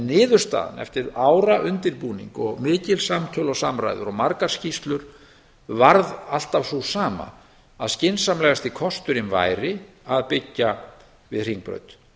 niðurstaðan eftir ára undirbúning og mikil samtöl og samræður og margar skýrslur varð alltaf sú sama að skynsamlegasti kosturinn væri að byggja við hringbraut